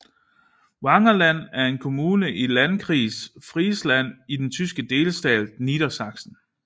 Wangerland er en kommune i Landkreis Friesland i den tyske delstat Niedersachsen